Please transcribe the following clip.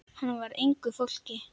Hann var af engu fólki.